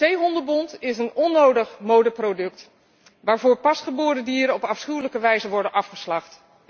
Zeehondenbont is een onnodig modeproduct waarvoor pasgeboren dieren op afschuwelijke wijze worden afgeslacht.